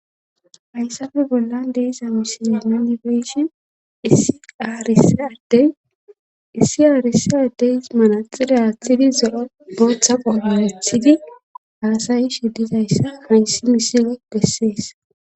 hayssafe bollan deeza misile munibeshin issi aaris addey issi aarisi addey manaxira aaththidi zo7o booththa qomanethidi haasayi shiddidayssa maynsi misile gessees